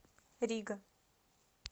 рига